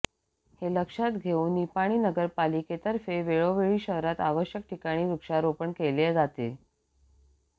हे लक्षात घेऊन निपाणी नगरपालिकेतर्फे वेळोवेळी शहरात आवश्यक ठिकाणी वृक्षारोपण केले जाते